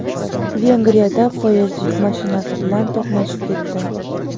Vengriyada poyezd yuk mashinasi bilan to‘qnashib ketdi.